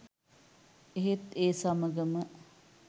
එහෙත් ඒ සමගම